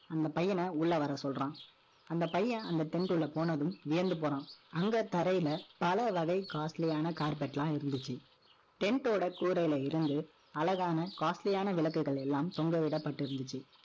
அந்த பையன, உள்ள வரச் சொல்றான் அந்த பையன், அந்த tent குள்ள போனதும், வியந்து போறான். அங்க தரையில, பல வகை costly யான carpet எல்லாம் இருந்துச்சு அழகான Tent ஓட கூரையில இருந்து, அழகான, costly யான விளக்குகள் எல்லாம் தொங்கவிடப்பட்டிருந்துச்சு.